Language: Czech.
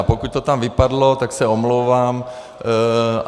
A pokud to tam vypadlo, tak se omlouvám.